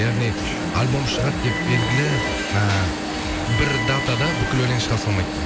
яғни альбом шығады деп белгілі э бір датада бүкіл өлең шыға салмайды